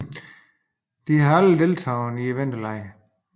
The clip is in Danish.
De har aldrig deltaget i vinterlege